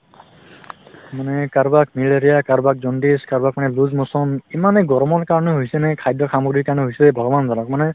মানে কাৰোবাক malaria কাৰোবাক jaundice কাৰোবাক মানে loose motion ইমানে গৰমৰ কাৰণে হৈছে নে খাদ্যৰ সামগ্ৰীৰ কাৰণে হৈছে ভগৱান জানক মানে